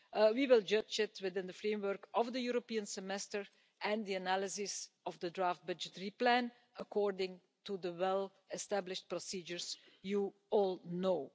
We will judge it, within the framework of the European Semester and the analysis of the draft budgetary plan, according to the well-established procedures you all know.